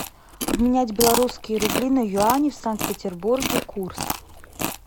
обменять белорусские рубли на юани в санкт петербурге курс